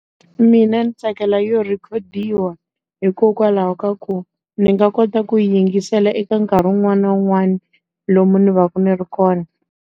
Mina ndzi tsakela yo rhikhodiwa. Hikokwalaho ka ku, ndzi nga kota ku yi yingisela eka nkarhi wun'wani na wun'wani, lomu ndzi va ku ndzi ri kona.